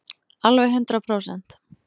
Alveg hundrað prósent.